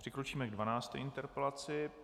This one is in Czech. Přikročíme ke 12. interpelaci.